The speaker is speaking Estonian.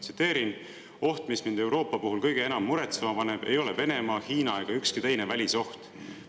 Tsiteerin: "Oht, mis mind Euroopa puhul kõige enam muretsema paneb, ei ole Venemaa, Hiina ega ükski teine välisoht.